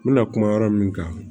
N bɛna kuma yɔrɔ min kan